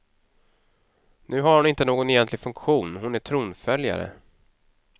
Nu har hon inte någon egentlig funktion, hon är tronföljare.